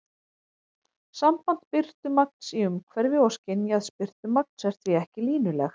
Samband birtumagns í umhverfi og skynjaðs birtumagns er því ekki línulegt.